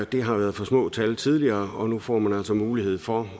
det har været for små tal tidligere og nu får man altså mulighed for